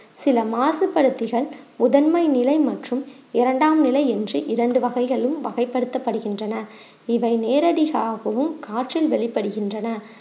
சில மாசுபடுத்திகள் முதன்மை நிலை மற்றும் இரண்டாம் நிலை என்று இரண்டு வகைகளும் வகைப்படுத்தப்படுகின்றன இதை நேரடியாகவும் காற்றில் வெளிப்படுகின்றன